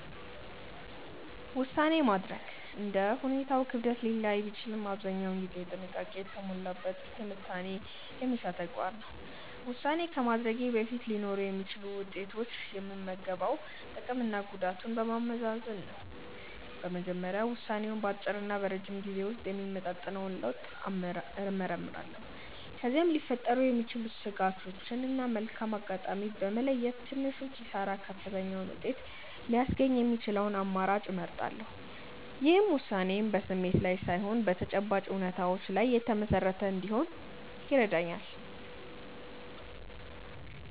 ውሳኔ ማድረግ እንደ ሁኔታው ክብደት ሊለያይ ቢችልም አብዛኛውን ጊዜ ጥንቃቄ የተሞላበት ትንታኔ የሚሻ ተግባር ነው። ውሳኔ ከማድረጌ በፊት ሊኖሩ የሚችሉትን ውጤቶች የምገመግመው ጥቅምና ጉዳቱን በማመዛዘን ነው። በመጀመሪያ ውሳኔው በአጭርና በረጅም ጊዜ ውስጥ የሚያመጣውን ለውጥ እመረምራለሁ። ከዚያም ሊፈጠሩ የሚችሉ ስጋቶችን እና መልካም አጋጣሚዎችን በመለየት፣ በትንሹ ኪሳራ ከፍተኛውን ውጤት ሊያስገኝ የሚችለውን አማራጭ እመርጣለሁ። ይህም ውሳኔዬ በስሜት ላይ ሳይሆን በተጨባጭ እውነታዎች ላይ የተመሰረተ እንዲሆን ይረዳኛል።